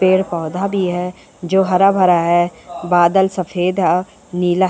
पेड़-पौधा भी है जो हरा-भरा है। बादल सफ़ेद औ नीला --